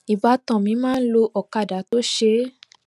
ìbátan mi máa ń lo ọkadà tó ṣeé